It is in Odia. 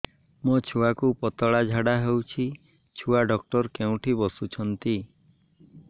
ମୋ ଛୁଆକୁ ପତଳା ଝାଡ଼ା ହେଉଛି ଛୁଆ ଡକ୍ଟର କେଉଁଠି ବସୁଛନ୍ତି